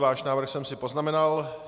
Váš návrh jsem si poznamenal.